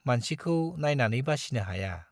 मानसिखौ नाइनानै बासिनो हाया।